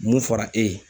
Mun fɔra e ye